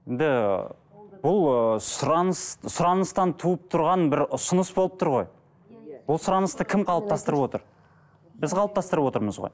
енді бұл ыыы сұраныс сұраныстан туып тұрған бір ұсыныс болып тұр ғой ол сұранысты кім қалыптастырып отыр біз қалыптастырып отырмыз ғой